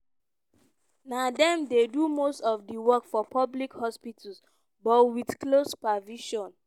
na dem dey do most of di work for public hospitals but wit close supervision.